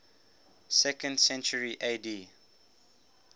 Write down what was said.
second century ad